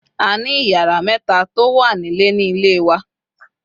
A ni iyara meta to wa Nile ni Ile wa